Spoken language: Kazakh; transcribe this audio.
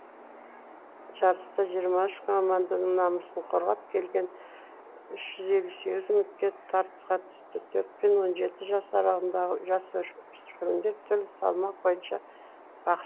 жарыста жиырма үш команданың намысын қорғап келген үш жүз елу сегіз үміткер тартысқа түсті төрт пен он жеті жас аралығындағы жасөспірімдер түрлі салмақ бойынша